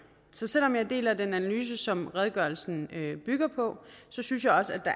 så selv om jeg deler den analyse som redegørelsen bygger på synes jeg også at